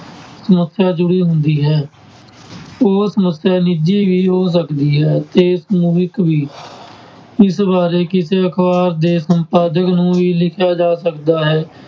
ਸਮੱਸਿਆ ਜੁੜੀ ਹੁੰਦੀ ਹੈ ਉਹ ਸਮੱਸਿਆ ਨਿੱਜੀ ਵੀ ਹੋ ਸਕਦੀ ਹੈ ਤੇ ਸਮੂਹਿਕ ਵੀ ਇਸ ਬਾਰੇ ਕਿਸੇ ਅਖ਼ਬਾਰ ਦੇ ਸੰਪਾਦਕ ਨੂੰ ਵੀ ਲਿਖਿਆ ਜਾ ਸਕਦਾ ਹੈ।